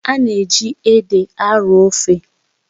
Ana eji ede arọọ ofe